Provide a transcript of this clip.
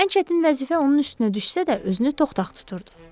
Ən çətin vəzifə onun üstünə düşsə də, özünü toxtax tuturdu.